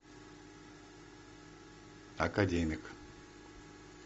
академик